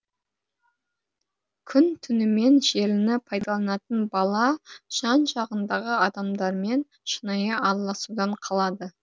күн түнімен желіні пайдаланатын бала жан жағындағы адамдармен шынайы араласудан қалады